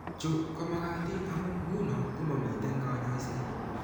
Chu ko makatiin amu eng' ng'uno ko mamiten kaany'ayseet.